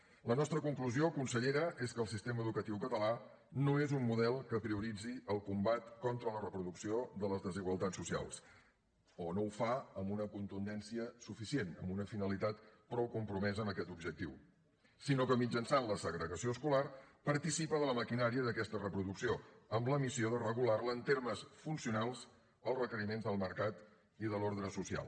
la nostra conclusió consellera és que el sistema educatiu català no és un model que prioritzi el combat contra la reproducció de les desigualtats socials o no ho fa amb una contundència suficient amb una finalitat prou compromesa amb aquest objectiu sinó que mitjançant la segregació escolar participa de la maquinària d’aquesta reproducció amb la missió de regular la en termes funcionals d’acord amb els requeriments del mercat i de l’ordre social